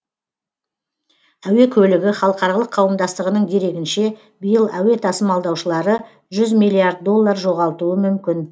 әуе көлігі халықаралық қауымдастығының дерегінше биыл әуе тасымалдаушылары жүз миллиард доллар жоғалтуы мүмкін